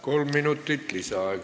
Kolm minutit lisaaega.